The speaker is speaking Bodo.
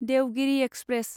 देवगिरि एक्सप्रेस